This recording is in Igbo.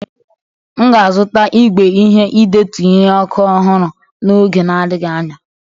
M ga-azụta igwe ihe idetu nri ọkụ ọhụrụ n'oge na adịghị anya.